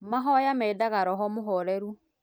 Mahoya mendaga roho mũhoreru